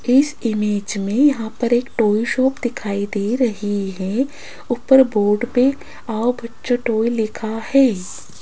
इस इमेज में यहाँ पर एक टॉय शाॅप दिखाई दे रही है ऊपर बोर्ड पे आओ बच्चों के टोय लिखा है।